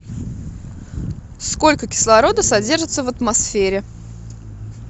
сколько кислорода содержится в атмосфере